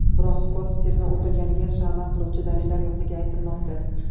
Biroq, Skott Stirni o‘ldirilganiga shama qiluvchi dalilllar yo‘qligi aytilmoqda.